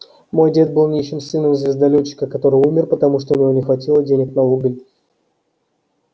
мой дед был нищим сыном звездолетчика который умер потому что у него не хватило денег на уголь